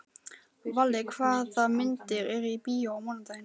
Valli, hvaða myndir eru í bíó á mánudaginn?